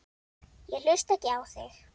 Ég hlusta ekki á þig.